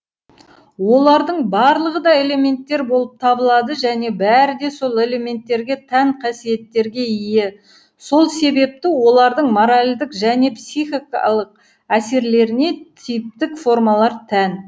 олардың барлығы да элементтер болып табылады және бәрі де сол элементтерге тән қасиеттерге ие сол себепті олардың моральдық және психикалық әсерлеріне типтік формалар тән